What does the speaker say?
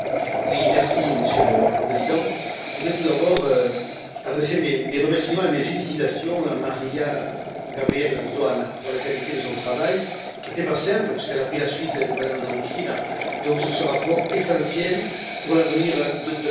Monsieur le Président, je voudrais tout d'abord adresser mes remerciements et mes félicitations à Maria Gabriella Zoanǎ pour la qualité de son travail qui n'était pas simple, puisqu'elle a pris la suite de Mme Dǎncilǎ, sur ce rapport essentiel pour l'avenir de l'agriculture.